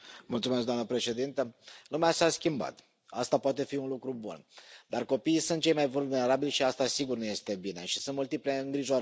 Doamna președintă, lumea s a schimbat, asta poate fi un lucru bun, dar copiii sunt cei mai vulnerabili și asta sigur nu este bine și sunt multiple îngrijorări.